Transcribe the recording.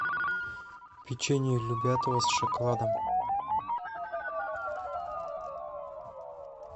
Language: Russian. печенье любятово с шоколадом